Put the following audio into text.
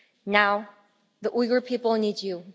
him. Now, the Uyghur people need